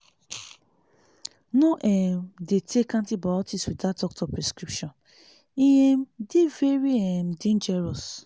no um dey take antibiotics without doctor prescription e um dey very um dangerous